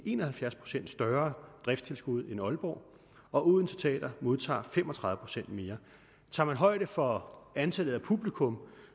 en og halvfjerds procent større driftstilskud end aalborg og odense teater modtager fem og tredive procent mere tager man højde for antallet af publikum